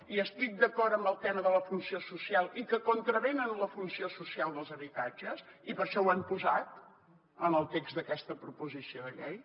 i estic d’acord amb el tema de la funció social i que contravenen la funció social dels habitatges i per això ho hem posat en el text d’aquesta proposició de llei